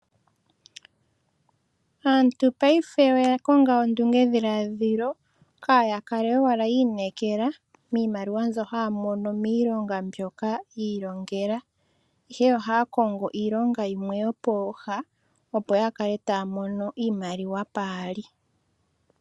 Aantu paife oya konga ondunge dhiladhilo kaya kale owala yi inekela miimaliwa mbyoka haya mono miilonga mbyoka yi ilongela ihe ohaya kongo iilonga yimwe yo pooha opo yakale taya mono iimaliwa paali.